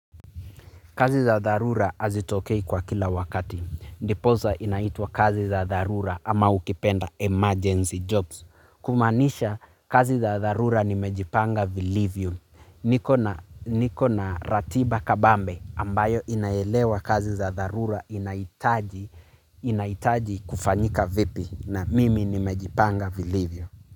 Kazi za dharura hazitokei kwa kila wakati. Ndiposa inaitwa kazi za dharura ama ukipenda emergency jobs. Kumaanisha kazi za dharura nimejipanga vilivyo. Nikona ratiba kabambe ambayo inaelewa kazi za dharura inahitaji kufanyika vipi na mimi nimejipanga vilivyo.